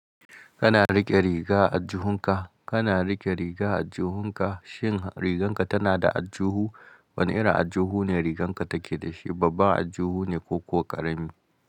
Kana riƙe riga a aljihunka, kana riƙe riga a aljihunka, shin riganka tana da ajjuhu? Wane irin ajjuhu ne riganka take da shi? Babban ajjuhu ne ko kuwa ƙarami?